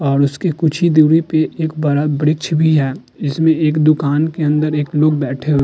और उसके कुछ ही दूरी पे एक बड़ा वृक्ष भी है। इसमें एक दुकान के अंदर एक लोग बैठे हुए --